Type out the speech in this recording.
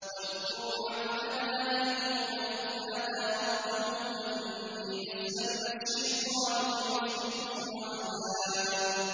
وَاذْكُرْ عَبْدَنَا أَيُّوبَ إِذْ نَادَىٰ رَبَّهُ أَنِّي مَسَّنِيَ الشَّيْطَانُ بِنُصْبٍ وَعَذَابٍ